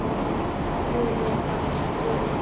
Júlía gat skilið það.